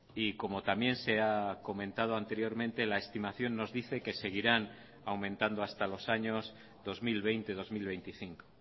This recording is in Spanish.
y como también se ha comentado anteriormente la estimación nos dice que seguirán aumentando hasta los años dos mil veinte dos mil veinticinco